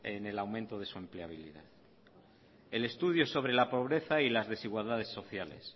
en el aumento de su empleabilidad el estudio sobre la pobreza y las desigualdades sociales